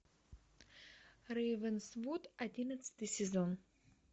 рейвенсвуд одиннадцатый сезон